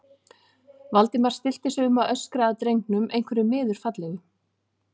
Valdimar stillti sig um að öskra að drengnum einhverju miður fallegu.